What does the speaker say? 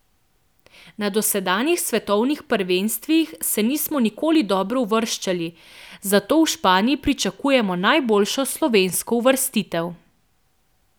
Na dosedanjih svetovnih prvenstvih se nismo nikoli dobro uvrščali, zato v Španiji pričakujem najboljšo slovensko uvrstitev.